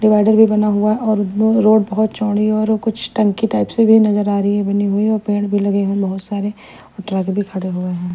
Divider भी बना हुआ है और ब्लू रोड बहुत चौड़ी है और वो कुछ टंकी टाइप्स से भी नजर आ रही है बनी हुई और पेड़ भी लगे हुए बहुत सारे और ट्रक भी खड़े हुए हैं।